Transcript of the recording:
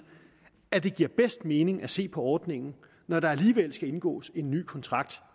at det giver bedst mening at se på ordningen når der alligevel skal indgås en ny kontrakt